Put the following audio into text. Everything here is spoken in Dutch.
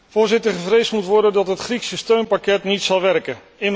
Voorzitter, gevreesd moet worden dat het Griekse steunpakket niet zal werken.